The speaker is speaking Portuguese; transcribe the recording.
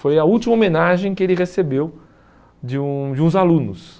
Foi a última homenagem que ele recebeu de um de uns alunos.